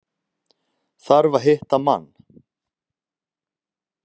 Þarf að hitta mann.